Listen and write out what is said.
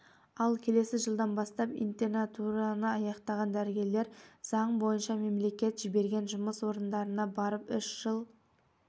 ал келесі жылдан бастап интернатураны аяқтаған дәрігерлер заң бойынша мемлекет жіберген жұмыс орындарына барып үш жыл